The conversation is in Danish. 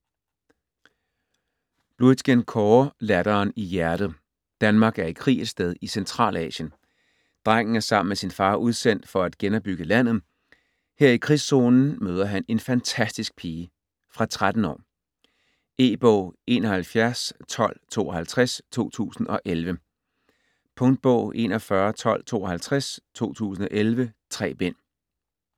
Bluitgen, Kåre: Latteren i hjertet Danmark er i krig et sted i Centralasien. Drengen er sammen med sin far udsendt for at genopbygge landet. Her i krigszonen møder han en fantastisk pige. Fra 13 år. E-bog 711252 2011. Punktbog 411252 2011. 3 bind.